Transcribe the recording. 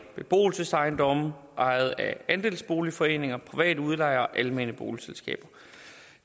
beboelsesejendomme ejet af andelsboligforeninger private udlejere og almene boligselskaber